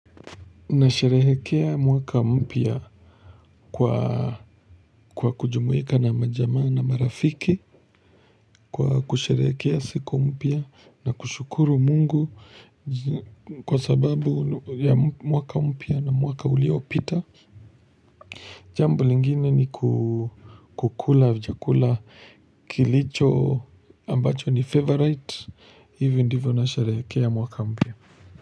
Nasherehekea mwaka mpya kwa kujumwika na majamaa na marafiki kwa kusherehekea siku mpya na kushukuru mungu kwa sababu ya mwaka mpya na mwaka ulio pita. Jambo lingine ni kukula chakula kilicho ambacho ni favorite. Hivyo ndivyo nasherehekea mwaka mpya.